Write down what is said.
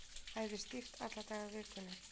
Æfir stíft alla daga vikunnar